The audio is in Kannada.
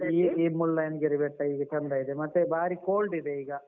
ಈ ಮುಳ್ಳಯ್ಯನಗಿರಿ ಬೆಟ್ಟ ಈಗ ಚಂದ ಇದೆ ಮತ್ತೆ ಬಾರಿ cold ಇದೆ ಈಗ.